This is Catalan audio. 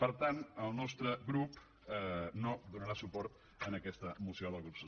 per tant el nostre grup no donarà suport a aquesta moció del grup socialista